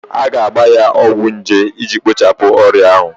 A ga-agba ya ọgwụ nje iji kpochapụ ọrịa ahụ